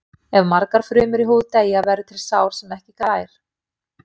Ef margar frumur í húð deyja verður til sár sem ekki grær.